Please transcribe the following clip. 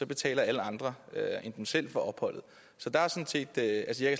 betaler alle andre end dem selv for opholdet så